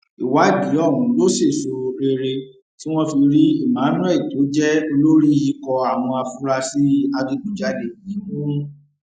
ìwádìí ọhún ló ṣèèsọ rere tí wọn fi rí emmanuel tó jẹ olórí ikọ àwọn afurasí adigunjalè yìí mú